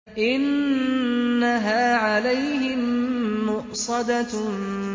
إِنَّهَا عَلَيْهِم مُّؤْصَدَةٌ